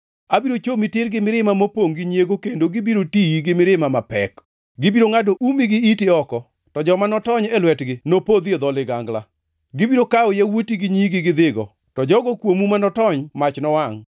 Abiro chomi tir gi mirimba mopongʼ gi nyiego kendo gibiro tiyi gi mirima mapek. Gibiro ngʼado umi gi iti oko, to joma notony e lwetgi nopodhi e dho ligangla. Gibiro kawo yawuoti gi nyigi gidhigo, to jogo kuomu ma notony mach nowangʼ.